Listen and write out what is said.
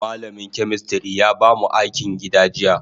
Malamin chemistry ya bamu akin gida jiya.